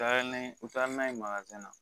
Taara ni u taara n'a ye na